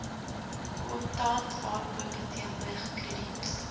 kontantaankope teenoor krediet